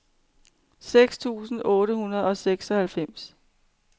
seks tusind otte hundrede og seksoghalvfems